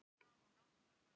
Grandagarði